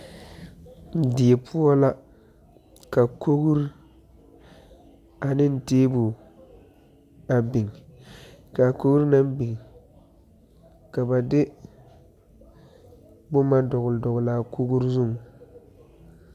Die poɔ la, ka kori ane tabol a biŋ ka kori na biŋ ka ba de boma dɔgele a kori zeŋ.